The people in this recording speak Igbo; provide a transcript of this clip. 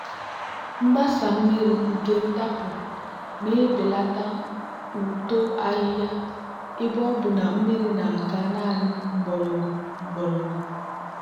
mgbasa mmiri nke ntapu na-ebelata uto ahihia ebe ọ bụ na mmiri na-aga naanị mgbọrọgwụ mgbọrọgwụ.